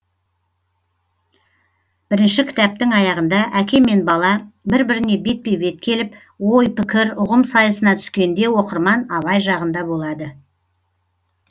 бірінші кітаптың аяғында әке мен бала бір біріне бетпе бет келіп ой пікір ұғым сайысына түскенде оқырман абай жағында болады